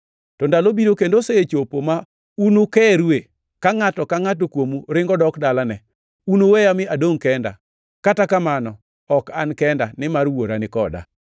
To ndalo biro, kendo osechopo ma unukerue, ka ngʼato ka ngʼato kuomu ringo dok dalane. Unuweya mi adongʼ kenda, kata kamano ok an kenda, nimar Wuora ni koda.